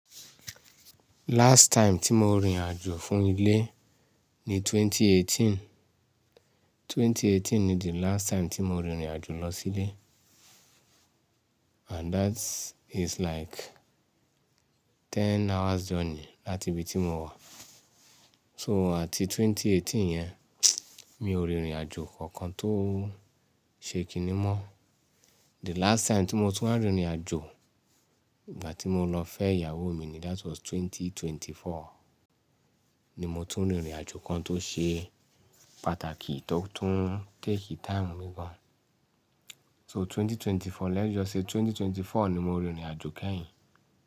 Last time tí mo rìnrìn àjò fún ilé ni 2018. 2018 ni the last time tí mo rìnrìn àjò lọ sílé. And that is like ten hours journey láti ibi tí mo wà. So àti 2018 yẹn, mi ò rìnrìn àjò kankan tó ṣe kiní mọ́. The last time tí mo tún wa rìnrìn àjò, ìgbà tí mo lọ fẹ́ ìyàwó mi ni, that was 2024 ni mo tún rìnrìn àjò kan tó ṣe pàtàkì, tó tún take time mí gán. So 2024, let's just say 2024 ni mo rìnrìn àjò kẹ́yìn.